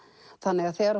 þannig að þegar